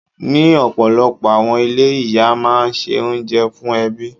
Ní ọ̀pọ̀lọpọ̀ àwọn ilé, Ìyá máa ń ṣe oúnjẹ fún ẹbí.